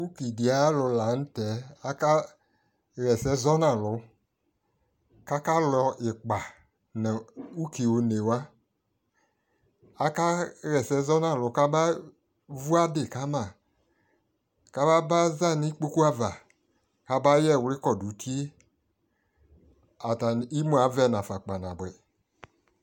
ʋki di ayi alʋ lantɛ ,aka yɛsɛ zɔnʋ alʋ kʋ aka lɔ ikpa nʋ ʋki ɔnɛ wa, aka yɛsɛ zɔnʋ alʋ kaba vʋ adi kama kaba ba zanʋ ikpɔkʋ aɣa kaba yɛ ɛwli kɔdʋ ʋtiɛ, imʋ aɣɛ naƒa kpa nabʋɛ